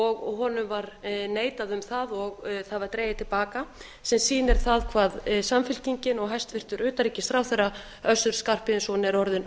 og honum var neitað um það og það var dregið til baka sem sýnir það hvað samfylkingin og hæstvirtur utanríkisráðherra össur skarphéðinsson er orðinn